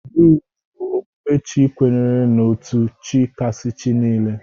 Druze bụ okpukpe Chi kwenyere n'otu Chi kasị Chi niile.